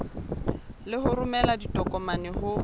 le ho romela ditokomane ho